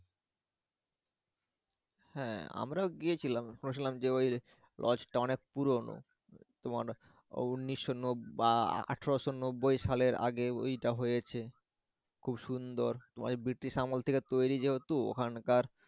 হ্যা আমরাও গিয়েছিলাম lodge টা অনেক পুরোনো তোমার উনিশশো নব্বই বা আঠারোশো নব্বই সালের আগে ওই টা হয়েছে খুব সুন্দর তোমার ওই বৃটিশ আমল থেকে তৈরি যেহেতু ওখানকার।